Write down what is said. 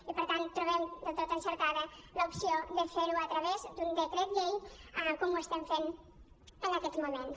i per tant trobem del tot encertada l’opció de fer·ho a través d’un decret llei com ho estem fent en aquests moments